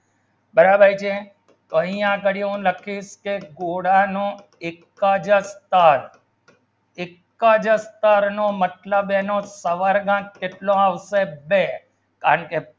બરાબર છે કઈ આ રાખ્યું લખી તે ગોળાનું એક જંતર એક જંતરમતલબ સાવરનું કેટલો ઔષદ છે અને